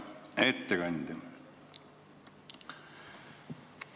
Hea ettekandja!